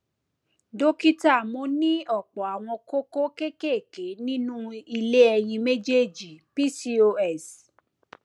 dókítà mo ní ọpọ àwọn kókó kéékèèké nínú ilé ẹyin méjèèjì pcos